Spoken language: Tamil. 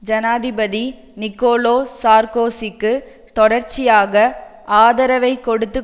ஜனாதிபதி நிக்கோலோ சார்க்கோசிக்கு தொடர்ச்சியாக ஆதரவைக் கொடுத்து